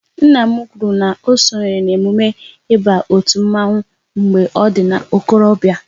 Nna m kwụrụ na sonyere n'emume ịba otu mmanwu mgbe ọ dị n'okorobia